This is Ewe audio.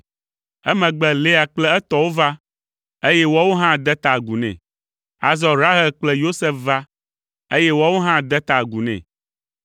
Emegbe Lea kple etɔwo va, eye woawo hã de ta agu nɛ. Azɔ Rahel kple Yosef va, eye woawo hã de ta agu nɛ.